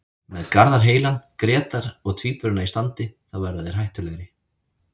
Með Garðar heilan, Grétar og Tvíburana í standi þá verða þeir hættulegir.